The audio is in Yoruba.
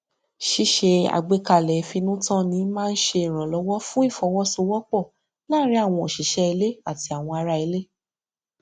ṣíṣe àgbékalẹ ìfinútànni máa n ṣe ìrànlọwọ fún ìfọwọsowọpọ láàrin àwọn òṣìṣẹ ilé àti àwọn ara ilé